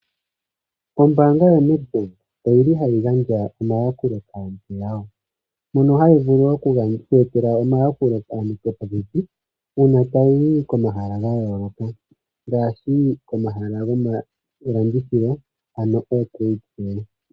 Ombaanga yo Nedbank oyili hayi gandja omayakulo kaantu yawo, mono hayi vulu wo okweetela omayakulo kaantu yo popepi uuna tayi zi komahala gayooloka ngaashi komahala gomalandithilo